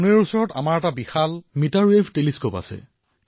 আমাৰ ওচৰত পুণেত বিশালকায় মিটাৰ ৱেভ দুৰবীক্ষণ আছে